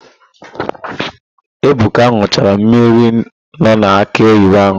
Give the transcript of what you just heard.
Ebuka n̄ụchara mmiri nọ n'akị oyibo ahụ.